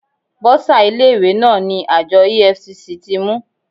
Bọ́sà ilé ìwé náà ni àjọ EFCC ti mú.